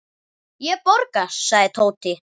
Ég borga, sagði Tóti.